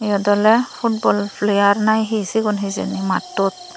iyot ole footboll player na he sigun hejeni maatot.